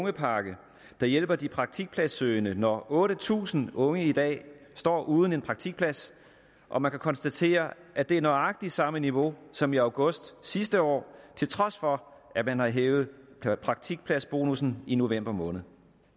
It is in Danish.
ungepakke der hjælper de praktikpladssøgende når otte tusind unge i dag står uden en praktikplads og man kan konstatere at det er nøjagtig samme niveau som i august sidste år til trods for at man har hævet praktikpladsbonussen i november måned